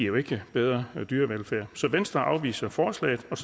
jo ikke give bedre dyrevelfærd så venstre afviser forslaget og